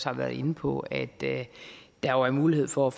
har været inde på at der er mulighed for